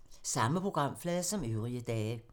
Samme programflade som øvrige dage